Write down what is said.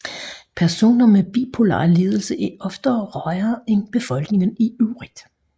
Personer med bipolar lidelse er oftere rygere end befolkningen i øvrigt